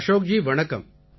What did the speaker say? அஷோக் ஜி வணக்கம்